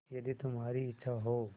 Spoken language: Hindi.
यदि तुम्हारी इच्छा हो